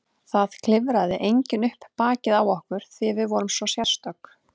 Það klifraði enginn upp bakið á okkur því við vorum svo sérstök.